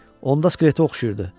Onda skletə oxşayırdı.